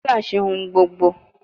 Dola ṣe ohun gbogbo